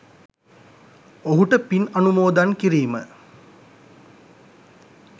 ඔහුට පින් අනුමෝදන් කිරීම